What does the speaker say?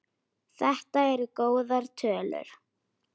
Þetta eru góðar tölur.